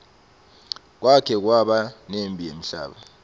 kwake kwaba nemphi yemhlaba